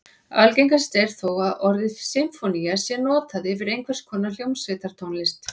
Algengast er þó að orðið sinfónía sé notað yfir einhvers konar hljómsveitartónlist.